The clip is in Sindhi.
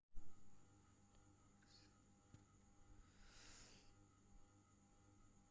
شينهن چيتا ۽ ليوپارڊز ڪڏهن شرميلا هوندا آهن ۽ توهان انهن کي دوربينن سان بهتر ڏسندا